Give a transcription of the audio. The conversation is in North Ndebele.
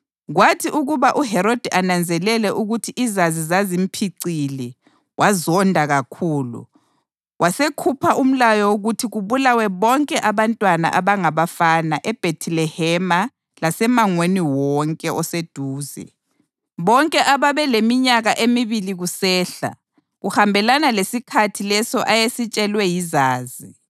Kwathi ukuba uHerodi ananzelele ukuthi iZazi zazimphicile wazonda kakhulu, wasekhupha umlayo wokuthi kubulawe bonke abantwana abangabafana eBhethilehema lasemangweni wonke oseduze, bonke ababeleminyaka emibili kusehla, kuhambelana lesikhathi leso ayesitshelwe yiZazi.